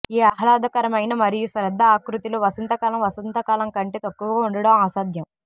ఈ ఆహ్లాదకరమైన మరియు శ్రద్ద ఆకృతితో వసంతకాలం వసంతకాలం కంటే తక్కువగా ఉండటం అసాధ్యం